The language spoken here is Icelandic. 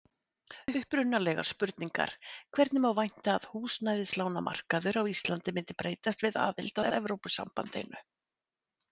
Upprunalegar spurningar: Hvernig má vænta að húsnæðislánamarkaður á Íslandi myndi breytast við aðild að Evrópusambandinu?